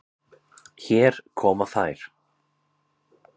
Hér koma þær.